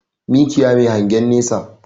Mikiya Mai hangen nesa